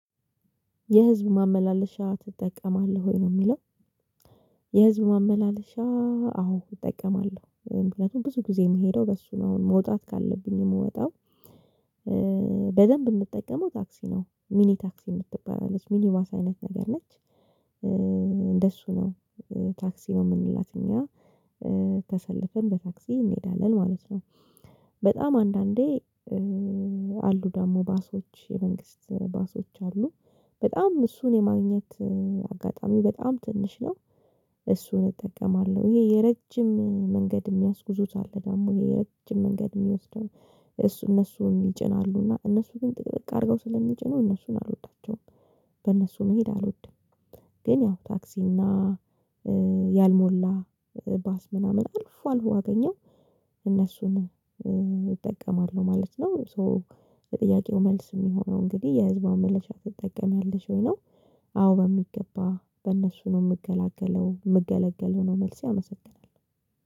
የህዝብ ማመላለሻ ትጠቀማለህ ወይ? ነው ሚለው። የህዝብ ማመላለሻ አዎን እጠቀማለሁ ምክንያቱም ብዙ ጊዜ ምሄደው በሱ ነው መውጣት ካለብኝ ምወጣው በደንብ ምጠቀመው ታክሲ ነው። ሚኒ ታክሲ ምትባል አለች ሚኒ ባስ አይነት ነገር ነች እንደሱ ነው ታክሲ ነው ምንላት እኛ ተሰልፈን በታክሲ እንሄዳለን ማለት ነው በጣም አንዳንዴ አሉ ደግሞ ባሶች የመንግስት ባሶች አሉ በጣም እሱን የማግኘት አጋጣሚ በጣም ትንሽ ነው እሱን እጠቀማለሁ። ይሄ የረጅም መንገድ የሚያስጉዙት አሉ ደግሞ የረጅም መንገድ የሚወስደው እሱ እነሱ ይጭናሉ እና እነሱ ግን ጥቅጥቅ አድርገው ስለምጭኑ እነሱን አልወዳቸውም። በእነሱ መሄድ አልወድም። ግን ያው ታክሲና እና ያልሞላ ባስ ምናምን አልፎ አልፎ አገኘው እነሱን እጠቀማለሁ ማለት ነው። ሶ የጥያቄው መልስ የሚሆነው እንግዲህ የህዝብ ማመላለሻ ትጠቀሚያለሽ ወይ ነው አዎ በሚገባ በእነሱ ነው ምገላገለው ምገለገለው ነው መልሴ አመሰግናለው።